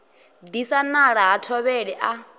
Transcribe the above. disa nala ha thovhele a